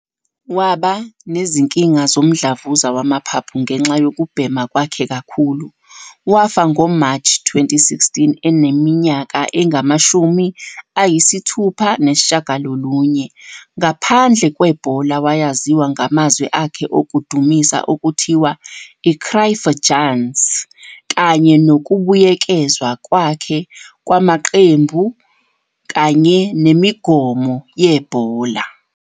Waba nezinkinga zomdlavuza wamaphaphu ngenxa yokubhema kwakhe kakhulu, wafa ngo-March 2016 eneminyaka engu-69. Ngaphandle kwebhola, wayaziwa ngamazwi akhe okudumisa, okuthiwa "Cruyffjans" kanye nokubuyekezwa kwakhe kwamaqembu kanye nemigomo yebhola.